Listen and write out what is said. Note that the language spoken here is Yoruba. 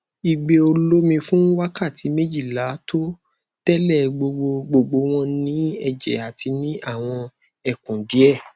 igbe olomi fun wakati mejila to tele gbogbo gbogbo won ni eje ati ni awon ekun die